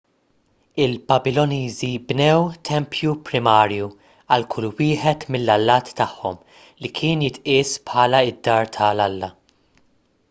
il-babiloniżi bnew tempju primarju għal kull wieħed mill-allat tagħhom li kien jitqies bħala d-dar tal-alla